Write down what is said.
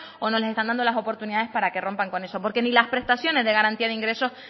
o no se les está dando las oportunidades para que rompan con eso porque ni las prestaciones de garantía de ingresos